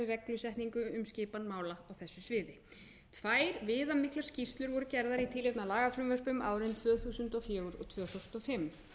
reglusetningar um skipan mála á þessu sviði tvær viðamiklar skýrslur voru gerðar í tilefni af lagafrumvörpum árin tvö þúsund og fjögur og tvö þúsund og fimm